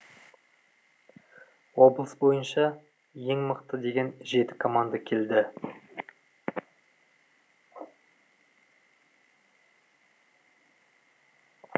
облыс бойынша ең мықты деген жеті команда келді